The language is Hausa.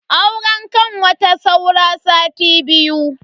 Auren kanwata saura sati biyu.